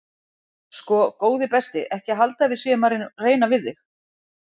Sko góði besti ekki halda að við séum að reyna við þig.